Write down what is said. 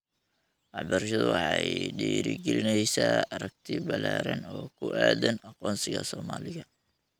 Waxbarashadu waxay dhiirri-gelinaysaa aragti ballaaran oo ku aaddan aqoonsiga Soomaaliga.